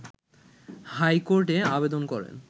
হাইকোর্টে আবেদন করেন